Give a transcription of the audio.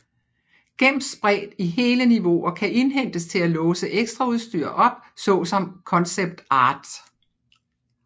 Gems spredt i hele niveauer kan indhentes til at låse ekstraudstyr op såsom concept art